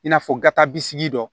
I n'a fɔ gata bi sigi dɔ